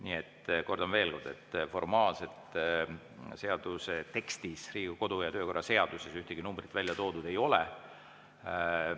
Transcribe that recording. Nii et kordan veel kord: formaalselt seaduse tekstis, Riigikogu kodu‑ ja töökorra seaduses ühtegi numbrit välja toodud ei ole.